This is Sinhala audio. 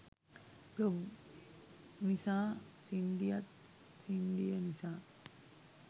බ්ලොග් නිසා සින්ඩියත් සින්ඩිය නිසා